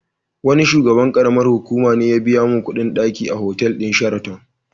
Wani shugaban ƙaramar hukuma ne ya biya min kuɗin ɗaki a otal din Sheraton.